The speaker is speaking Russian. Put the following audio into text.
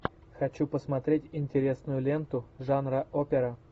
хочу посмотреть интересную ленту жанра опера